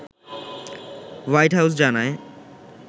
white House জানায়